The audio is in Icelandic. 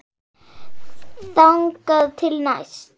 Þangað til næst.